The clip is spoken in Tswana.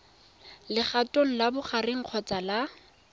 legatong la bogareng kgotsa la